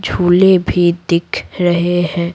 झूले भी दिख रहे हैं।